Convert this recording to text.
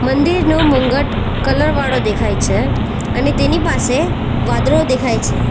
મંદિરનો મુંગટ કલર વાળો દેખાય છે અને તેની પાસે વાદળો દેખાય છે.